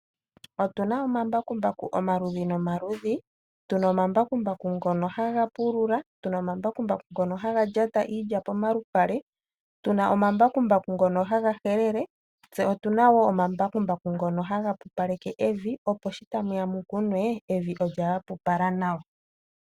Otu na omambakumbaku omaludhi nomaludhi: tu na omambakumbaku ngono ha ga pulula, omambakumbaku ha ga lyata iilya pomalupale, omambakumbaku gokuhelela nomambakumbaku goku pupaleka evi ,opo yi ka le lyahapupala nawa uuna ethimbo lyo ku kuna lya adha.